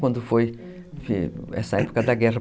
Quando foi , enfim, essa época da guerra.